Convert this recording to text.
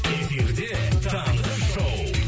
эфирде таңғы шоу